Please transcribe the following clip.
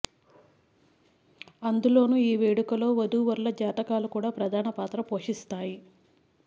అందులోనూ ఈ వేడుకలో వదూవరుల జాతకాలు కూడా ప్రధాన పాత్ర పోషిస్తాయి